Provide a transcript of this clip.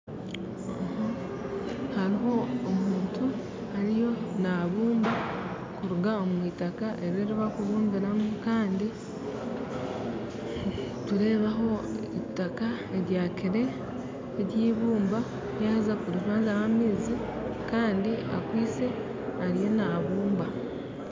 Hariho omuntu ariyo nabumba kuruga omwitaka eribarikubumbiramu kandi nitureebaho itaka eryibumba yaheza kurizwanzyamu amaizi Kandi akwaitse ariyo naabumba.